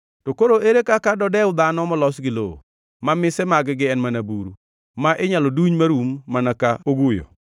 to koro ere kaka dodew dhano molos gi lowo, ma mise mag-gi en mana buru, ma inyalo duny marum mana ka oguyo!